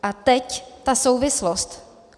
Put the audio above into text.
A teď ta souvislost.